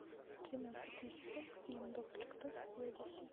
тринадцатый сезон фильм доктор кто серия восемь